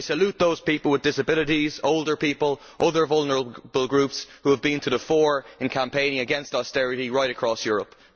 I salute those people with disabilities, older people, and other vulnerable groups who have been to the fore in campaigning against austerity right across Europe.